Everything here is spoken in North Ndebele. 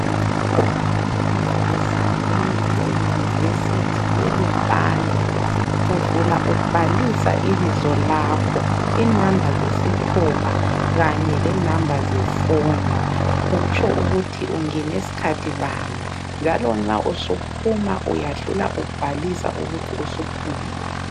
Nxa ungena esangweni le University ye lupane udlula ubhalisa ibizo lakho ,inamba zezithupha kanye lenamba zefoni utsho ukuthi ungene skhathi bani ,njalo nxa usuphuma uyadlula ubhalisa ukuthi usuphumile